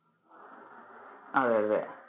അതെ അതെ.